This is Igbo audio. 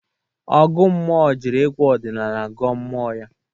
Ọgụ mmụọ jiri egwu ọdịnala gọọ mmụọ ya.